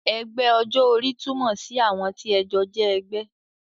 Ẹgbẹ́ ọjọ́ orí túmọ̀ sí àwọn tí ẹ jọ jẹ́ ẹgbẹ́